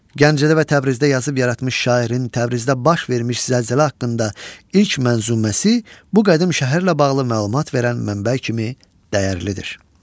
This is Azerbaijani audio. Gəncədə və Təbrizdə yazıb yaratmış şairin Təbrizdə baş vermiş zəlzələ haqqında ilk mənzuməsi bu qədim şəhərlə bağlı məlumat verən mənbə kimi dəyərlidir.